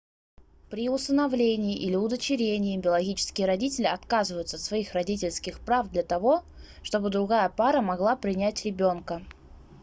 при усыновлении или удочерении биологические родители отказываются от своих родительских прав для того чтобы другая пара могла принять ребёнка